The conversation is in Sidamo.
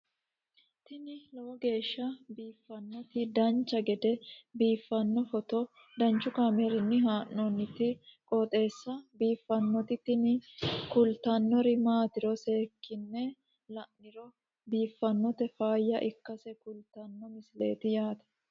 tini lowo geeshsha biiffannoti dancha gede biiffanno footo danchu kaameerinni haa'noonniti qooxeessa biiffannoti tini kultannori maatiro seekkine la'niro biiffannota faayya ikkase kultannoke misileeti yaate